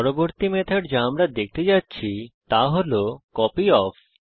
পরবর্তী মেথড যা আমরা দেখতে যাচ্ছি তা হল কপিওফ